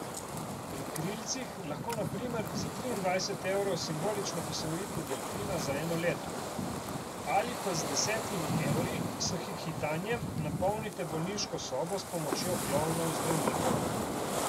Pri Krilcih lahko na primer za triindvajset evrov simbolično posvojite delfina za eno leto ali pa z desetimi evri s hihitanjem napolnite bolniško sobo s pomočjo klovnov zdravnikov.